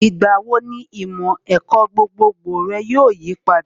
Ìgbà wo ni ìmọ̀ ẹ̀kọ́ gbogbogbò rẹ yóò yipadà?